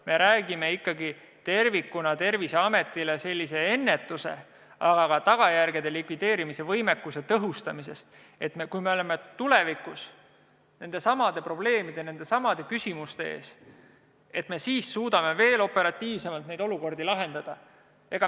Me räägime ikkagi Terviseameti puhul tervikuna tagajärgede ennetamise ja nende likvideerimise võimekuse tõhustamisest, et kui oleme tulevikus nendesamade probleemide ja küsimuste ees, siis suudaksime neid olukordi operatiivsemalt lahendada.